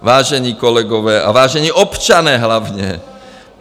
Vážení kolegové - a vážení občané hlavně.